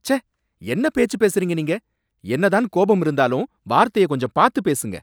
ச்சே! என்ன பேச்சு பேசுறீங்க நீங்க? என்ன தான் கோபம் இருந்தாலும் வார்த்தைய கொஞ்சம் பாத்து பேசுங்க